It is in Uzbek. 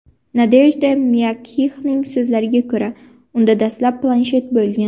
Nadejda Myagkixning so‘zlariga ko‘ra, unda dastlab planshet bo‘lgan.